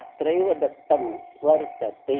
अत्रैव दत्तम् वर्तते